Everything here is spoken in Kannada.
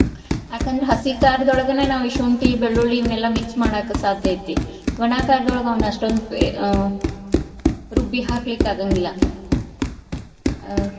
ಯಾಕಂದ್ರ ಹಸಿಕಾರ್ದೊಳಗನ ನಾವ್ ಈ ಶುಂಟಿ, ಬೆಳ್ಳುಳ್ಳಿ ಇವನೆಲ್ಲಾ mix ಮಾಡಾಕ ಸಾದ್ಯ ಐತಿ. ಒಣಾಕಾರ್ದೊಳಗ ಅವ್ನ ಅಷ್ಟೊಂದ್ ಪೆ~ ಆ ರುಬ್ಬಿ ಹಾಕಲಿಕ್ಕ್ ಆಗಾಂಗಿಲ್ಲಾ ಆ.